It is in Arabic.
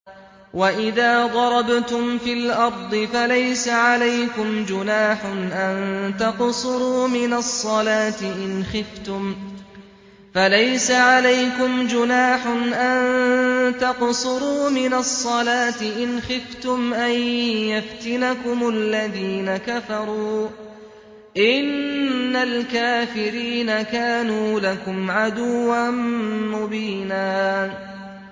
وَإِذَا ضَرَبْتُمْ فِي الْأَرْضِ فَلَيْسَ عَلَيْكُمْ جُنَاحٌ أَن تَقْصُرُوا مِنَ الصَّلَاةِ إِنْ خِفْتُمْ أَن يَفْتِنَكُمُ الَّذِينَ كَفَرُوا ۚ إِنَّ الْكَافِرِينَ كَانُوا لَكُمْ عَدُوًّا مُّبِينًا